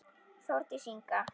Þórdís Inga.